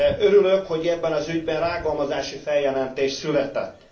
Örülök, hogy ebben az ügyben rágalmazási feljelentés született.